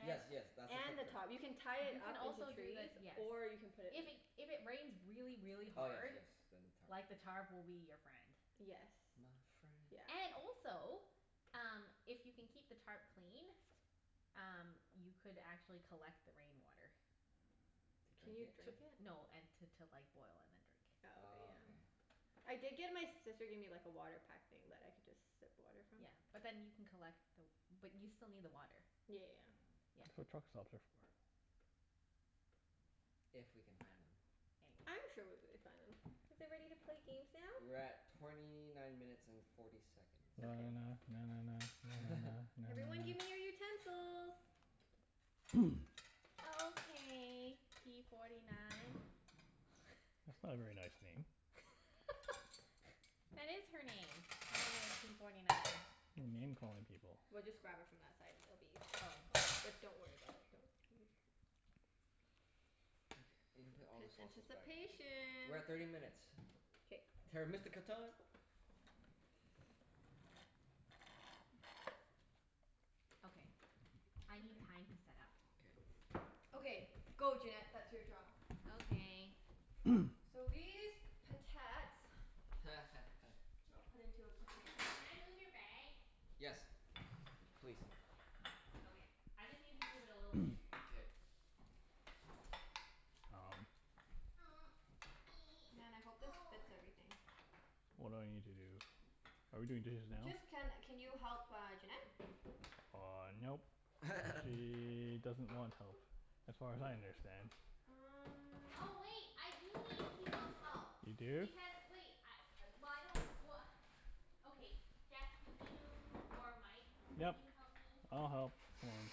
Yes, yes, that's the And the footprint. top. You can tie it up You into can also trees, do the, or yes. you can put it If it, if it rains really, Oh really yes, hard yes, then tarp. like the tarp will be your friend. Yes. My friend. Yeah. And also, um if you can keep the tarp clean um you could actually collect the rain water. To Can drink you it? drink it? No, and t- to like boil and then drink. Oh, okay, Oh, yeah. okay. I did get, my sister gave me like a water pack thing that I could just sip water from. Yeah. But then you can collect the w- but you still Yeah, yeah, need yeah. the water. That's Yeah. what truck stops are for. If we can find them. Maybe. I'm sure we'll be able to find them. Are Is we it ready to ready play to games play now? games We're now? at torny nine minutes and forty seconds. Na na Okay. na. Na na na. Na na na. Na Everyone na give me your na. utensils. Okay p forty nine. That's not a very nice name. That is her name. Her name is p forty nine. You're name-calling people. We'll just grab it from that side and it'll be easier. But don't worry about it, don't Okay. You can P- put all the p- sauces back. anticipation. We're at thirty minutes. K. Terra Mystica time. Okay, I need Okay. time to set up. K. Okay. Go Junette. That's your job. Okay. So these potats I'll put into a container. Can I move your bag? Yes. Please. Okay, I just need to move it a little bit. K. Um. Man, I hope this fits everything. What do I need to do? Are we doing dishes now? Just, can can you help uh Junette? Uh, nope. Nope. She doesn't want help, as far as I understand. Um Oh wait, I do need people's help. You do? Because wait, I, well I don't, well Okay, Jeff can you, or Mike can Yep. you help me? I'll help. Hold on.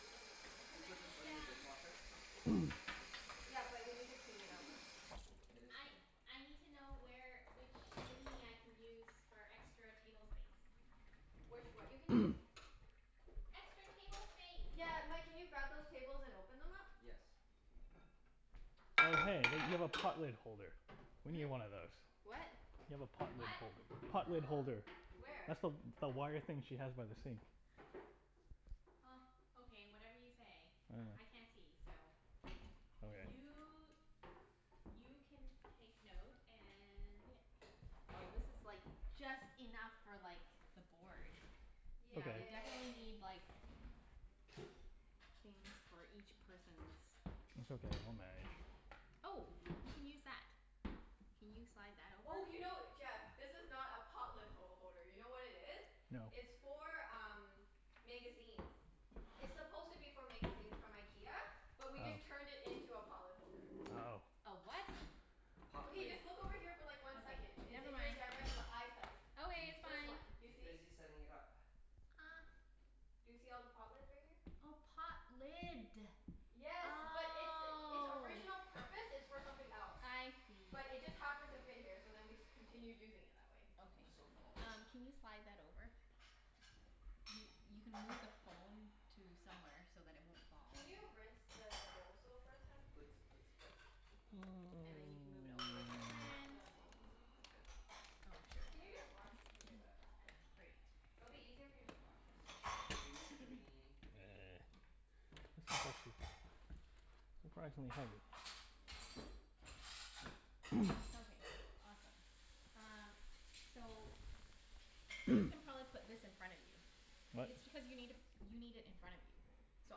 Oh, do we Cuz I put this need on the um dishwasher? Yeah, but we need to clean it out first. It is I clean. I need to know where, which thingie I can use for extra table space. Which what you can use? Extra table space. Got Yeah, it. Mike, can you grab those tables and open them up? Yes. Oh hey, you have a pot lid holder. We Hmm? need one of those. What? You have a pot lid What? holder. Pot lid holder. Where? Where? That's the w- the wire thing she has by the sink. Huh. Okay, whatever you say. I can't see, so Okay. You you can take note and yeah Oh, this is like just enough for like the board. Yeah, we Okay. definitely Yay. need like things for each person's It's okay. We'll manage. Oh, we can use that. Can you slide that over? Oh, you know, Jeff? This is not a pot lid ho- holder. You know what it is? No. It's for um magazines. It's supposed to be for magazines from IKEA. Oh. But we just turned it into a pot lid holder. Oh. A what? Pot Okay, lid. just look over here for like one Okay, second. It's never in your mind. direct l- eyesight. Okay, She's it's This fine. one. Do you she's see? busy setting it up. Do you see all the pot lids right here? Oh, pot lid. Yes, but its its Oh. original purpose is for something else. I see. But it just happened to fit here so then we continued using it that way. I'm Okay. so full. Um can you slide that over? You you can move the phone to somewhere so that it won't fall. Can you rinse the bowls though first, hun? And then you can move it over Can you with the please rinse plant. the bowls and everything first? Oh well, sure. Can you That just works. wash, okay whatever. Great. It'll be 'Scuse easier if you me. just wash it. 'Scuse me. Surprisingly heavy. Okay. Awesome. Um So, you can probably put this in front of you. What It's because you need i- you need it in front of you. So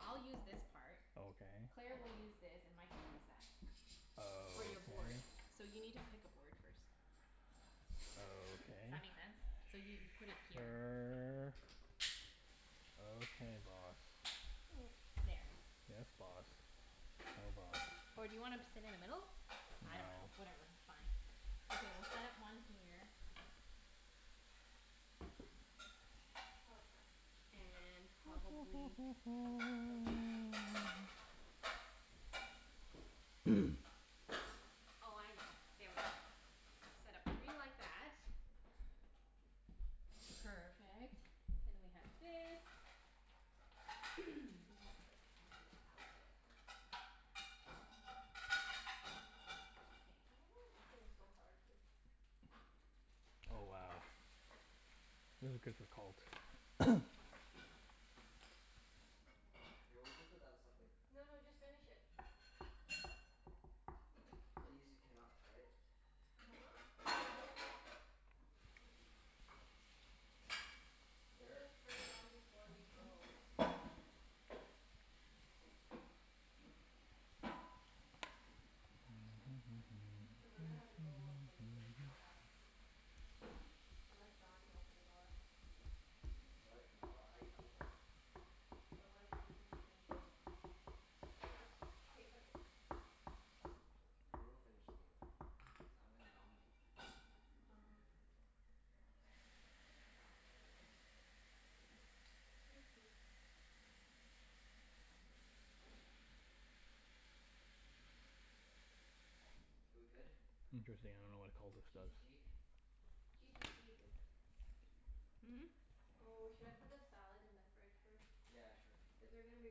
I'll use this part. Okay. Claire I will use this and Mike will use that. For Okay. your board. So you need to pick a board first. Does that make sense? So Okay. you put it here. Sure. Okay boss. There. Yes boss. No boss. Or do you wanna p- sit in the middle? I No. dunno. Whatever, fine. Okay, we'll set up one here. Oh crap. And probably That would be difficult. Oh, I know. There we go. Set up three like that. Perfect. Then we have this. I don't know Okay. why this thing's so hard to Oh, wow. This is good for cult. Here, we'll just put that as stuff later. No no, just finish it. These are cannots, right? uh-huh. We'll Here. just turn it on before we go. Cuz we're gonna have to go from the game to your house. Unless John can open the door. What? No, I I'm going. But what if we don't finish the game? K, put it. We will finish the game, cuz I'm gonna dominate. uh-huh. Ah. Thanks hun. K, we good? Interesting, Okay. I don't know what a cultist G to does. g? G to g bib. Hmm? Oh, should I put the salad in the fridge first? Yeah, sure. Is there gonna be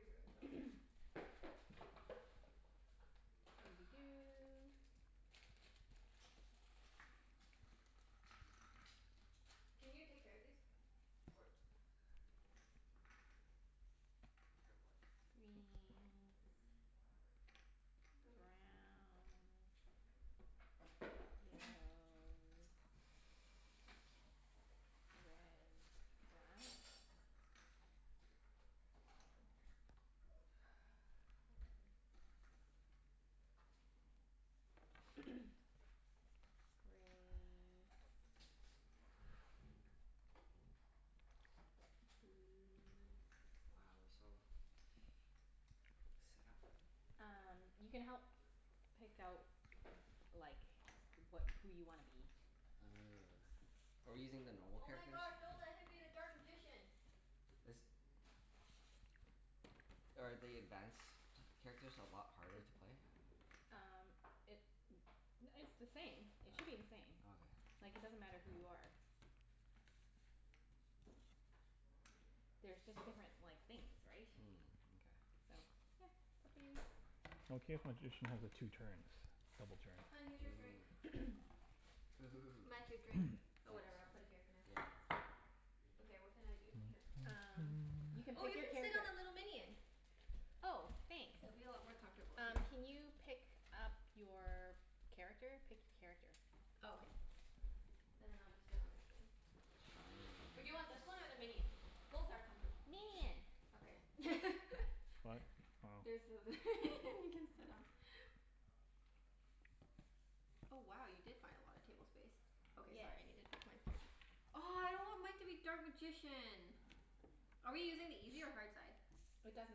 room though? Doo dee doo. Can you take care of these? What? Take care of what? Greens. Browns. Yellows. Red. Blacks. We go Grays. Blues. Wow, we're so set up. Um you can help pick out like wha- who you wanna be. Are we using the normal Oh my characters? gosh, don't let him be the dark magician. This Are the advanced characters a lot harder It to play? Um it it's the same. It All should be the same. right. Okay. Like it doesn't matter who you are. There's just different like things, right? Mm, mkay. So, yeah. Up to you. Okay if magician has a two turns. Double Hun, here's turn. your drink. Ooh. Mike, Ooh. your drink? Oh, whatever. I'll Thanks. put it here for now. Yeah. Okay, what can I do? Here. Um you can Oh, you pick can sit your on the character. little minion. Oh, It'll be thanks. a lot more comfortable. Here. Um can you pick up your character? Pick a character. Oh, okay. And then I'll just sit on this thing. Or do you want this one or the Chinese. minion? Both are comfortable. Minion. Okay. What? There's Oh. th- you can sit on. Oh wow, you did find a lotta table space. Okay, Yes. sorry. I needed the. Oh, I don't want Mike to be dark magician. Are we using the easy or hard side? It doesn't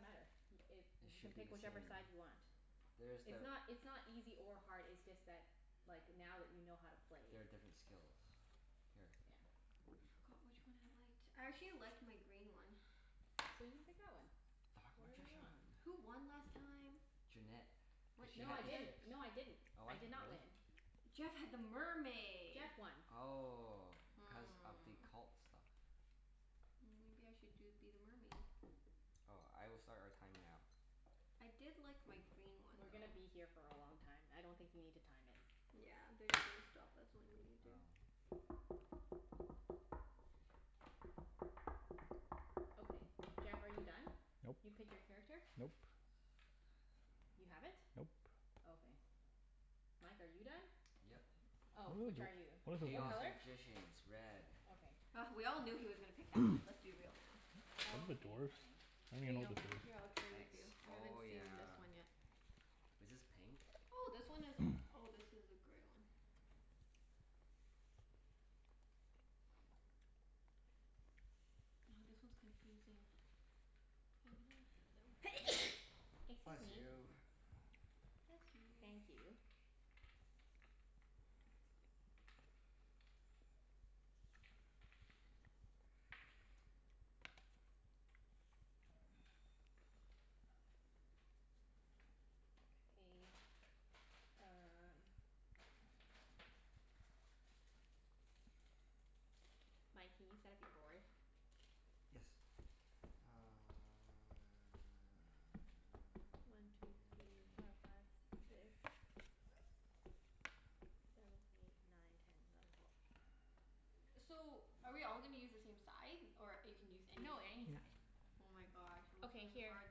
matter. Y- it, It you can should be pick the whichever same. side you want. There's It's the not it's not easy or hard, it's just that like now that you know how to play. There are different skills. Here. Yeah. I forgot which one I liked. I actually liked my green one. So you pick that one. Dark Whatever you magician. want. Who won last time? Junette. What Cuz What? she No had I what the did didn't. ships. No I didn't. Oh, I what? did not Really? win. Jeff had the mermaid. Jeff won. Oh. Cuz of the Hmm. cult stuff. Mm maybe I should do be the mermaid? Oh, I will start our time now. I did like my green one We're though. gonna be here for a long time. I don't think you need to time it. Yeah, they're just gonna stop us when we need to. Oh. Okay. Jeff, are you done? Nope. You pick your character? Nope. You haven't? Nope. Okay. Mike, are you done? Yep. Oh. Which are you? What Chaos color? Magicians. Red. Okay. Oh we all knew he was gonna pick that one. Let's be real now. I Okay, fine. don't Here even know you what go. this Here, I'll is. trade with you. Thanks. I haven't Oh seen this yeah. one yet. Was this pink? Oh, this one is, oh, this is a gray one. Oh, this one's confusing. Excuse Bless me. you. Bless you. Thank you. Okay, um Mike, can you set up your board? Yes. Uh One two three four five six. Seven eight nine ten eleven twelve. So, are we all gonna use the same side, or you can use No, anything? any side. Oh my gosh, it looks Okay, really here. hard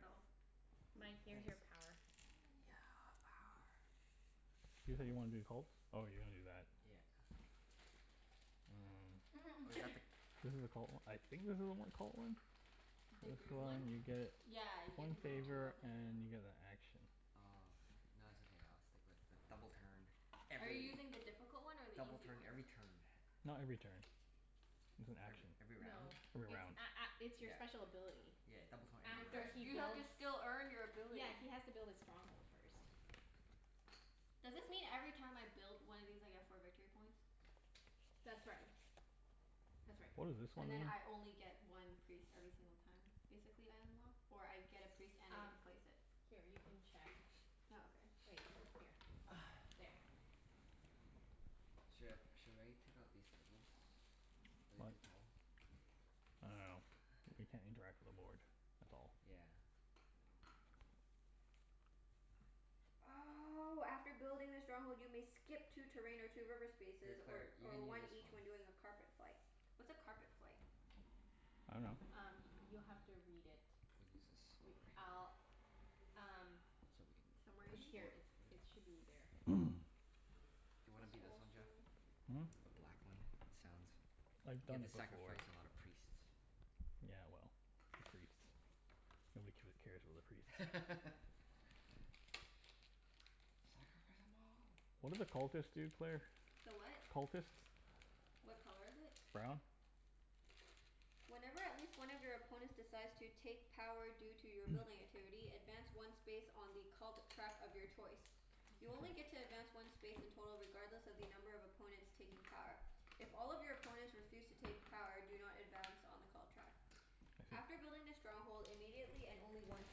though. Mike, here's your power. Thanks. Yeah, power. You said you wanted to be the cults? Oh, you wanna do that. Yeah. Or is Mm. that the This is a cult o- I think this a cult one? The This green one? one, you Oh. get Yeah, you get one to move two favor Oh. and you get a action. Oh, okay. No, it's okay, I'll stick with the double turn, Are you every, using the difficult one or the double easy turn one? every turn. Not every turn. It's an Every action. every No. round? Every It's round. a- a- it's your Yeah. special ability. Yeah, double turn You every have to After s- he you round. have to builds, still earn your ability. yeah, he has to build his stronghold first. Does this mean every time I build one of these I get four victory points? That's right. That's right. What does this one And then mean? I only get one priest every single time, basically, I unlock? Or I get a priest and I get Um, to place it? here you can check Oh, okay. Wait. Here. There. Sh- should I take out these tables? Are they What? too tall? I dunno. We can't interact with the board. That's all. Yeah. Oh, after building the stronghold you may skip two terrain or two river Hey spaces, or Claire, you or can use one this one. each when doing a carpet flight. What's a carpet flight? I dunno. Um you'll have to read it. We'll use this Re- over here. I'll, um So we can Somewhere in touch it's the here? here. board It's, over there. it should be there. Do you wanna It's be this one, Jeff? also Hmm? The black one? He sounds I've You have done to it before. sacrifice a lot of priests. Yeah, well, the priests. Nobody giv- cares about the priests. Sacrifice them all. What do the cultists do, Claire? The what? Cultists? What color is it? Brown. Whenever at least one of your opponents decides to take power due to your building activity, advance one space on the cult track of your choice. You only get to advance one space in total regardless of the number of opponents taking power. If all of your opponents refuse to take power do not advance on the cult track. I After see. building the stronghold immediately, and only once,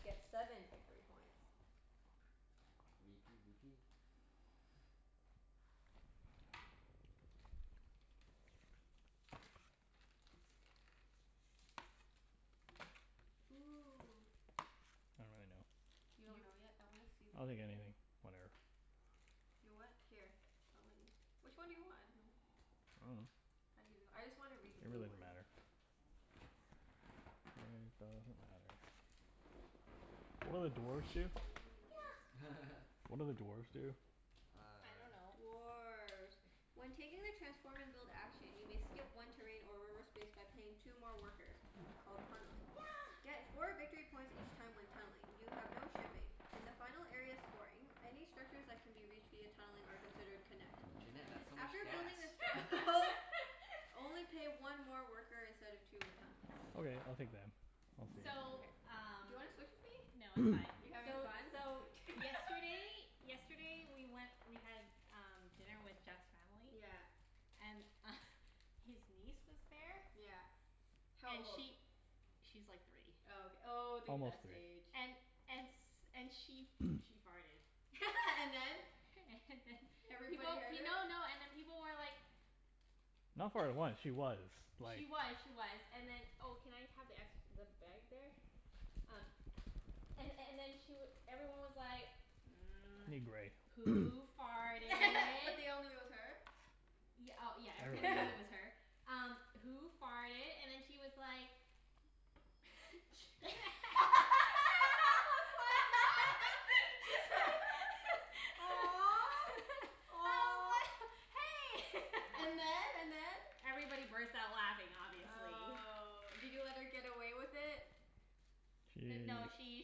get seven victory points. v p b p. Ooh. I don't really know. You don't You know yet? I wanna see the I'll take green anything. Whatever. You what? Here. I'll let you, which one do you want? I dunno. I dunno. I just wanna read the It really blue doesn't one. matter. It doesn't matter. What do dwarves do? Yeah. What do the dwarves do? I Uh dunno. Dwarf. When taking the transform and build action you may skip one terrain or reverse space by paying two more workers. Called tunneling. Yeah. Get four victory points each time when tunneling. You have no shipping. In the final area of scoring, any structures that can be reached via tunneling are considered connect. Junette, that's so much After gas. building a strong hold, only pay one more worker instead of two when tunneling. Okay. I'll take them. We'll see. So, Mkay. Do you um wanna switch with me? No, You're it's fine. having So fun? so yesterday Yesterday we went, we had um dinner with Jeff's family. Yeah. And his niece was there. Yeah. How And old? she, she's like three. Oh, ok- oh, the Almost best three. age. And and s- and she she farted. And then? And then Everybody People, heard her? no no, and then people were like Not farted once. She was, like She was, she was. And then Oh, can I have the ex- the bag there? Um and and then she w- everyone I need was gray. like, "Who But they farted?" all knew it was her? Y- oh, yeah, everyone knew Everybody. it was her. Um "Who farted?" and then she was like I was like, Aw. Aw. "Hey!" And then? And then? Everybody burst out laughing, obviously. Oh. Did you let her get away with it? D- no, She she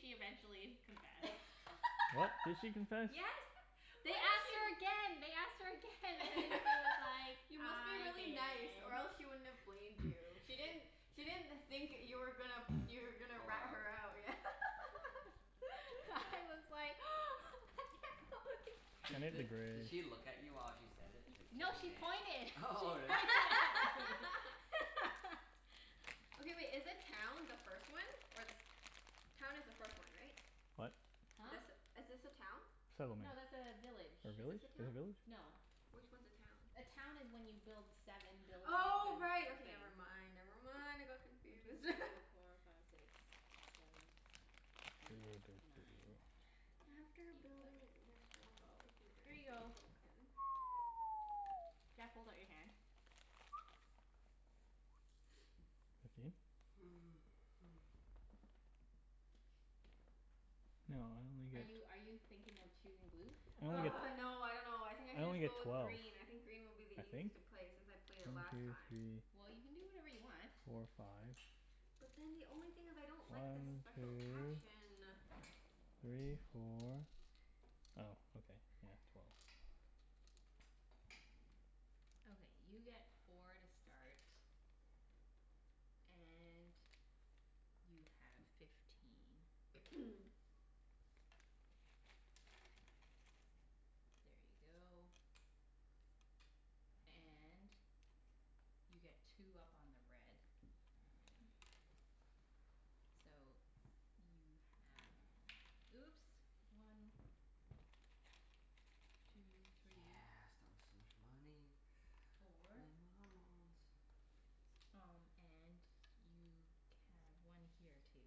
she eventually confessed. What? Did she confess? Yes. Why They do asked her pe- again, they asked her again and then she was like, You must be "I really did." nice or else she wouldn't have blamed you. She didn't, she didn't think that you were gonna, you were gonna Call her rat out? her out. Yeah. I was like Di- the di- did grays. she look at you while she said it? It's like, No, she pointed. She "Junette." Really? pointed at me. Okay wait, is the town the first one, or the se- Town is the first one, right? What? Huh? This, is this a town? Settlement. No, that's a village. Or Is this village? a Is town? it village? No. Which one's a town? A town is when you build seven buildings Oh, and right. Okay, never I mind, never never mind. want I to go got confused. through four five six seven eight nine After ten eleven building the strongholds you twelve. can Here you a go. token. Jeff, hold out your hand. Fifteen? No, I only get Are you are you thinking of choosing blue? I only get, Argh, no, I dunno. I think I I should only just get go with twelve. green. I think green will be the I think. easiest to play, since I played it One last two time. Well, you can do whatever three you want. four five. But then the only thing is I don't like the One special two action. three four, oh okay. Yeah, twelve. Okay, you get four to start. And you have fifteen. There you go. And you get two up on the red. So, you have, oops. One. Two three. Yeah, start with so much money. Four. Um and you can, one here too.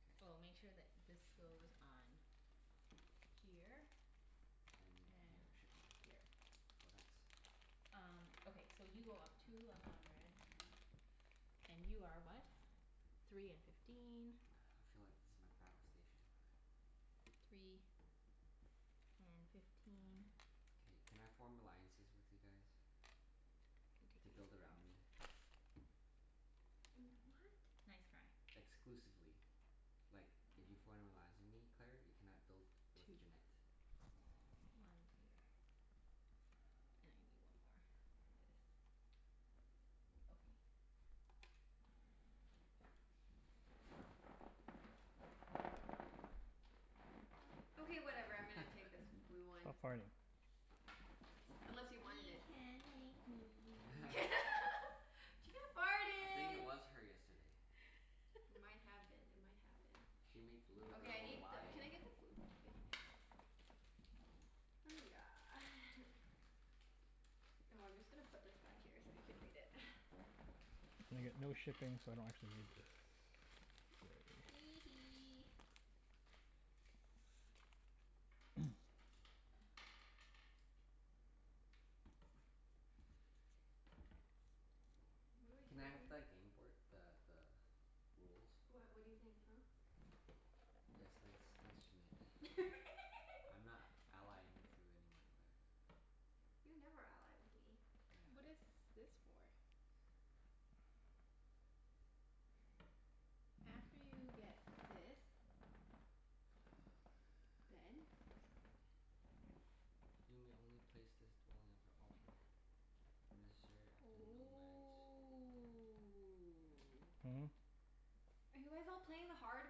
K. Oh, make sure that this goes on here. And And here. Shipping here. here. Cool, thanks. Um, okay. So you go up two up on the red. And you are what? Three and fifteen. I feel like this is my battle station. Three and fifteen. K, can I form alliances with you guys to build around me? Mm, what? Nice try. Exclusively. Like, if you form an alliance with me, Claire, you cannot build with Two Junette. more. One two. And I need one more for this. Okay. Okay, whatever. I'm gonna take this blue one. Stop farting. Unless you wanted You it? can't make me. She I think it farted. was her yesterday. It might have been. It might have been. She made the little Okay, I girl need the, lie. can I get the blue p- Oh yeah. Oh, I'm just gonna put this back here so you can read it. And I get no shipping, so I don't actually need this. Hee hee. What do I do Can I have again? the gameboard, the the rules? What, what do you think, huh? Yes, thanks thanks Junette. I'm not allying with you anymore, Claire. You never ally with me. Yeah, I What is this for? After you get this six, go Then? again. You may only place this dwelling after all players necessary after nomads. Ooh. Hmm? Are you guys all playing the hard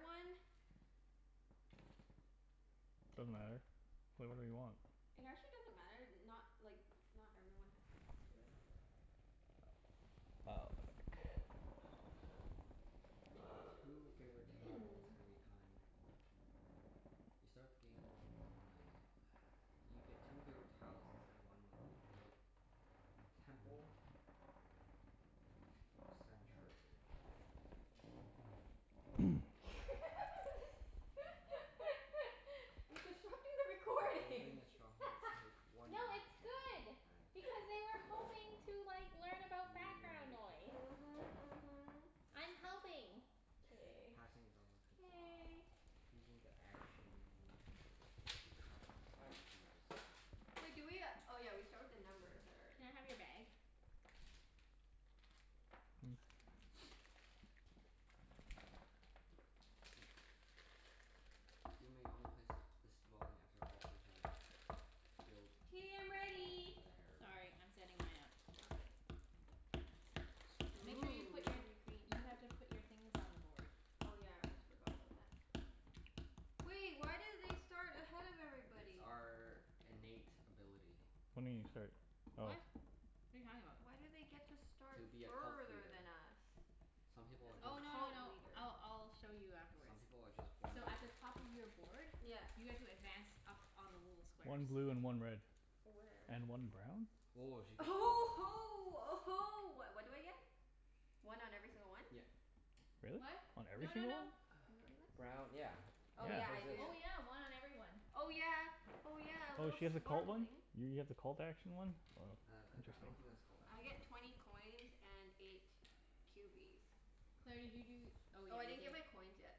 one? Doesn't matter. Play whatever you want. It actually doesn't matter. Not, like not everyone has to do that. Oh. I get two favorite tiles every time. You start the game when dwelling You get two favorite tiles instead of one when you build temple or sanctuary. You're disrupting the If you're recording. building a stronghold No, take one action it's good token as a because they were hoping special to like learn You may about background take noise. the Mhm, mhm. I'm helping. K. Passing is also considered K. Using the action to keep track of using the special Wait do we uh, oh yeah, we start with the numbers that are Can I in have your bag? You may only place th- this dwelling after all players have built all K, I'm ready. theirs. Sorry, I'm setting mine up. Okay. Make Ooh, sure you you're put gonna be your, you green. have Hmm? to put your things on the board. Oh yeah, I almost forgot about that. Wait, why do they start ahead of It's everybody? our innate ability. What do you mean you start? Oh. What? What are you talking about? Why do they get to start To be a cult further leader. than us? Some people As are a just Oh, no no cult no. leader. I'll I'll show you Some afterwards. people are just born So at the better. top of your board Yeah. you guys will advance up on the little One squares. blue and one red. Where? And one brown? Woah, she Uh gets huh oh huh ho uh ho. What what do I get? One on every single one? Yep. Really? What? On every No no single one? no. Brown, yeah. Oh yeah, Yeah. Cuz I this. do. Oh, yeah. One on every one. Oh yeah, oh yeah. A Oh, little she has a cult one? swarmling. You get the cult action one? Wow, Uh I I I interesting. don't think dunno. that's called I get twenty coins and eight cubies. Claire, did you do oh, Oh, yeah, I you didn't get gave my coins yet.